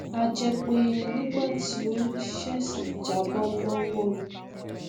a jẹ pé nígbà tí ó ṣèṣì jábọ lọwọ mi